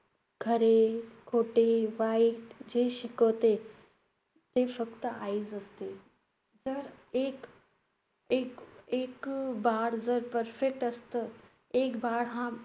खरे, खोटे, वाईट जे शिकवते, ते फक्त आईच असते. त~ एक~ एक~ एक जर perfect असतं, एक हा